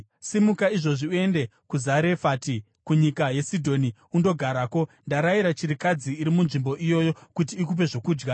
“Simuka izvozvi uende kuZarefati kunyika yeSidhoni undogarako. Ndarayira chirikadzi iri munzvimbo iyoyo kuti ikupe zvokudya.”